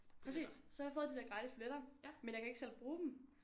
Præcis så har jeg fået de der gratis billetter men jeg kan ikke selv bruge dem